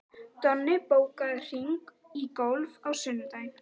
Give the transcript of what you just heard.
Donni, bókaðu hring í golf á sunnudaginn.